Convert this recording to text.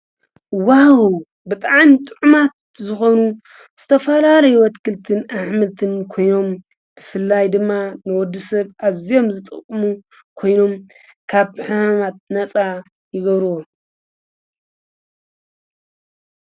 ዋው ብጣዕሚን ጥዑማት ዝኾኑ ዝተፋላለዩ ኣትክልትን ኣኅምልትን ኮይኖም ብፍላይ ድማ ንወዲ ሰብ ኣዘዮም ዝጠቕሙ ኮይኖም ካብ ሕማማት ነጻ ይገብርዎ